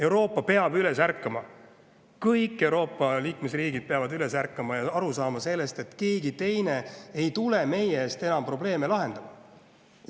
Euroopa peab üles ärkama, kõik Euroopa liikmesriigid peavad üles ärkama ja aru saama sellest, et keegi teine ei tule meie eest enam probleeme lahendama.